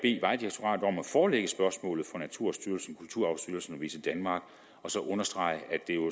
forelægge spørgsmålet for naturstyrelsen kulturarvsstyrelsen og visitdenmark og så understrege at